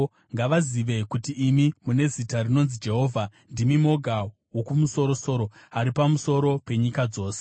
Ngavazive kuti imi, mune zita rinonzi Jehovha, ndimi moga Wokumusoro-soro ari pamusoro penyika yose.